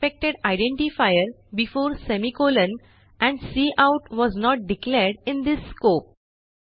expected identifier before semicolon and cout was not declared in this scope